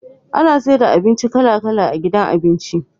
Ana saida abinci kala kala a gidan abinci